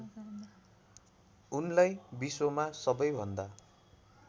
उनलाई विश्वमा सबैभन्दा